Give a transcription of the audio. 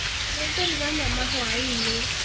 Nĩngũruga nyama hwaĩ-inĩ